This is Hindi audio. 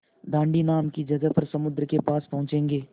दाँडी नाम की जगह पर समुद्र के पास पहुँचेंगे